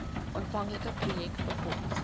aanvanklike projek befonds